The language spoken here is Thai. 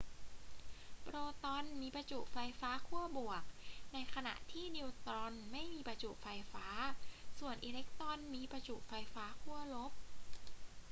โปรตอนมีประจุไฟฟ้าขั้วบวก ในขณะที่นิวตรอนไม่มีประจุไฟฟ้า ส่วนอิเล็กตรอนมีประจุไฟฟ้าขั้วลบ